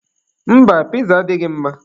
Mba, piza a adịghị mma.